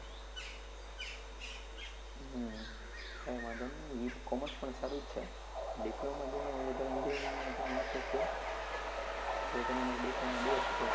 હમ કાઈ વાંધો નહિ એ કોમર્સ પણ સારું જ છે, diploma જેનો વધારે engineering માં જેને intreset છે. તો તેના માટે diploma best છે.